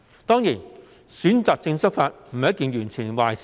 當然，選擇性執法並非完全是壞事。